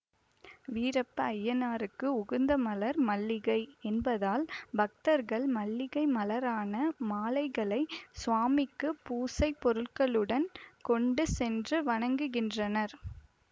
வீரப்ப அய்யனாருக்கு உகந்த மலர் மல்லிகை என்பதால் பக்தர்கள் மல்லிகை மலரான மாலைகளை சுவாமிக்குப் பூசைப் பொருட்களுடன் கொண்டு சென்று வணங்குகின்றனர்